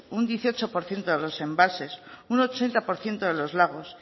un dieciocho por ciento de los embalses un ochenta por ciento de los lagos